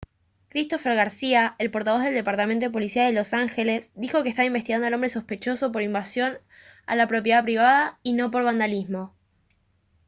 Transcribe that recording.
christopher garcía el portavoz del departamento de policía de los ángeles dijo que están investigando al hombre sospechoso por invasión a la propiedad privada y no por vandalismo